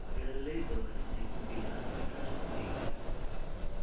Beeralayda waa in ay ku biiraan iskaashatooyinka.